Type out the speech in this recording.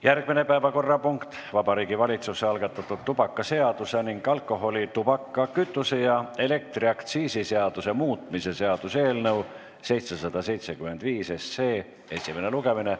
Järgmine päevakorrapunkt: Vabariigi Valitsuse algatatud tubakaseaduse ning alkoholi-, tubaka-, kütuse- ja elektriaktsiisi seaduse muutmise seaduse eelnõu esimene lugemine.